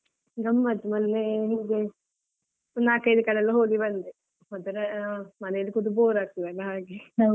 ಆ ರಜೆಯಲ್ಲಿ ಗಮ್ಮತ್ ಮೊನ್ನೇ ಹೀಗೆ ಒಂದ್ ನಾಲ್ಕೈದು ಕಡೆಯೆಲ್ಲಾ ಹೋಗಿ ಬಂದೆ ಒಂತರಾ ಮನೆಯಲ್ಲಿ ಕೂತು bore ಆಗ್ತದಲ್ಲ ಹಾಗೆ.